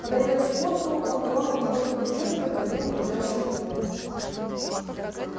подойдя к скотту он тронул его за плечо и проговорил угрожающим тоном